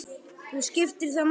Og skiptir það máli?